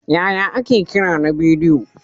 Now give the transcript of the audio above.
Yaya ake kira na bidiyo?